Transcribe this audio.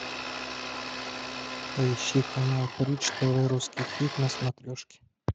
поищи канал бридж тв русский хит на смотрешке